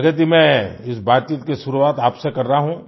प्रगति मैं इस बातचीत की शुरुआत आपसे कर रहा हूँ